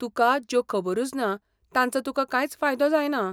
तुकां ज्यो खबरुच ना तांचो तुकां कांयच फायदो जायना.